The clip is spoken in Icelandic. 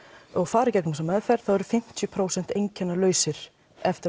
og fara í gegnum þessa meðferð þá eru fimmtíu prósent einkennalausir eftir